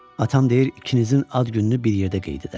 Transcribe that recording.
Atam deyir ikinizin ad gününü bir yerdə qeyd edərik.